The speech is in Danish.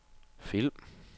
film